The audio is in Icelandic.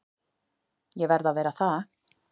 Ég verð að vera það.